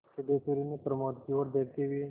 सिद्धेश्वरी ने प्रमोद की ओर देखते हुए